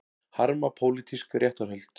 Harma pólitísk réttarhöld